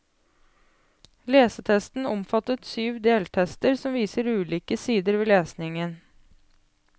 Lesetesten omfattet syv deltester som viser ulike sider ved lesningen.